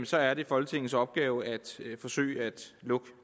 så er det folketingets opgave forsøge at lukke